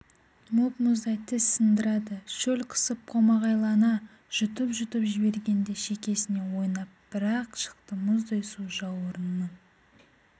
мұп-мұздай тіс сындырады шөл қысып қомағайлана жұтып-жұтып жібергенде шекесіне ойнап бір-ақ шықты мұздай су жауырынының